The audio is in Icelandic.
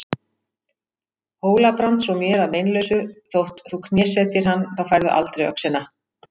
Hóla-Brands og mér að meinalausu þótt þú knésetjir hann, þá færðu aldrei öxina.